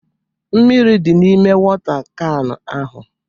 Mmírí dị n'ime wota kan ahụ